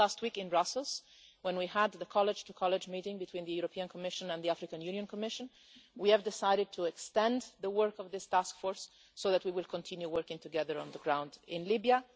And just last week in Brussels, when we had the college to college meeting between the European Commission and the African Union Commission, we decided to extend the work of this task force, so we will continue working together on the ground in Libya.